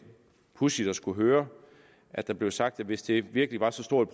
pudsigt at skulle høre at der blev sagt at hvis det virkelig var så stort